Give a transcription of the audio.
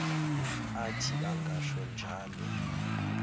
athi angasho njalo